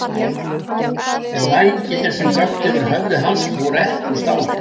En vængirnir sem blöktu yfir höfði hans voru ekki úr stáli.